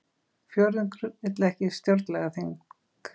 Fjórðungur vill ekki stjórnlagaþing